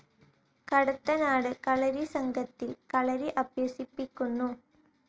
കടത്തനാട് കളരി സംഘത്തിൽ കളരി അഭ്യസിപ്പിക്കുന്നു.